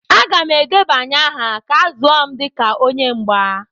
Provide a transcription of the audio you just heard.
Aga m edebanye aha ka a zụọ m dịka onye mgba.